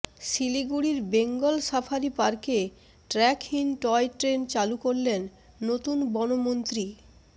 শিলিগুড়ির বেঙ্গল সাফারি পার্কে ট্র্যাকহীন টয়ট্রেন চালু করলেন নতুন বনমন্ত্রী